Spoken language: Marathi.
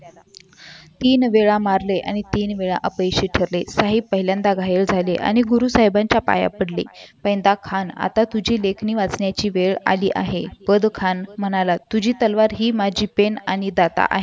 तीन वेळा मारले तीन वेळा अपयशी ठरले साहेब पहिल्यांदा घाई झाली आणि गुरु साहेबांच्या पाया पडले आणि पांडे खान आता तुझी लेखी वाचण्याची वेळ आली आहे पदर खान म्हणाला तुझी तलवार माझी पेन आणि दाता आहे